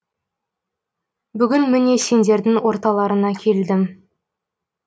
бүгін міне сендердің орталарыңа келдім